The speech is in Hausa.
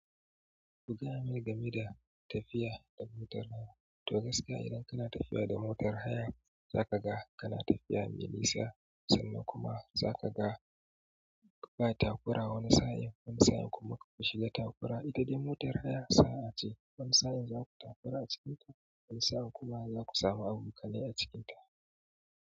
Ku gayamana game da tafiya da motar haya. To gaskiya idan kana tafiya da motar haya, za ka ga kana tafiya mai nisa sannan kuma za ka ga ba takura wani sa'in. Wani sa'in kuma akwai shi da takura. Ita dai motar haya sa'a ce. Wani sa'in za ku takura a cikinta, wani sa'in kuma za ku samu abokanai a cikinta.